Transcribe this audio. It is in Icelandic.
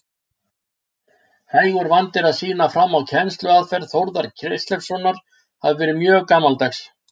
Hægur vandi er að sýna fram á að kennsluaðferð Þórðar Kristleifssonar hafi verið mjög gamaldags.